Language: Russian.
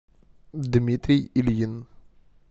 дмитрий ильин